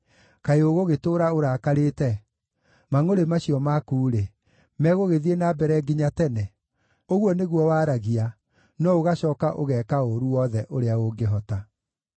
kaĩ ũgũgĩtũũra ũrakarĩte? Mangʼũrĩ macio maku-rĩ, megũgĩthiĩ na mbere nginya tene?’ Ũguo nĩguo waragia, no ũgacooka ũgeeka ũũru wothe ũrĩa ũngĩhota.”